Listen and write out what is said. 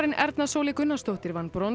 Erna Sóley Gunnarsdóttir vann brons